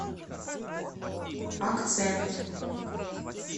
акцент